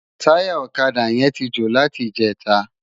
Tàyá òkadá yèn ti jó láti ijètá